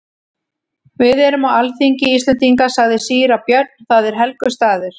Við erum á alþingi Íslendinga, sagði síra Björn,-það er helgur staður.